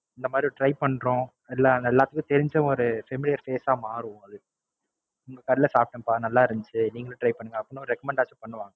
இந்த மாதிரி ஒரு Try பண்றோம். எல்லாம் எல்லாருக்கும் தெரிஞ்ச ஒரு Familiar face ஆ மாறும் அது. இந்த கடையில சாப்டேன்ப்பா நல்லாருன்ச்சு நீங்களும் Try பண்ணுங்க அப்படின்னு ஒரு Recommend ஆச்சும் பண்ணுவாங்க